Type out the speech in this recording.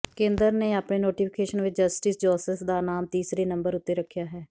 ਕੇਂਦਰ ਨੇ ਆਪਣੇ ਨੋਟੀਫਿਕੇਸ਼ਨ ਵਿਚ ਜਸਟਿਸ ਜੋਸੇਫ ਦਾ ਨਾਮ ਤੀਸਰੇ ਨੰਬਰ ਉੱਤੇ ਰੱਖਿਆ ਹੈ